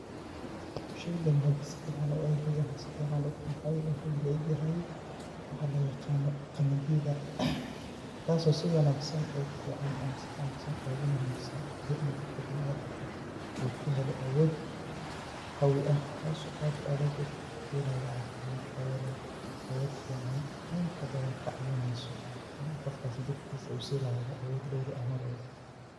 Sheygan hadin si fican u eegay ama si fican uqeexay wuxuu illa egyahay waxa loo yaqaano qamadiida taaso si wanaagsan ogu fican ama si wanaagsan ogu muhiimsan jirka bini adamka uu kahelo awood qawi ah taaso uu kahelayo caafimad taya leh awood fican inta badan kacaawineyso qofkas jirkiis uu si lahaado awood dheeri ah Mar walbo